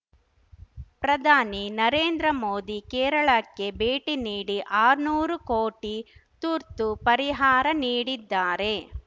ಪ್ರಧಾನಿ ನರೇಂದ್ರ ಮೋದಿ ಕೇರಳಕ್ಕೆ ಭೇಟಿ ನೀಡಿ ಆರ್ನೂರು ಕೋಟಿ ತುರ್ತು ಪರಿಹಾರ ನೀಡಿದ್ದಾರೆ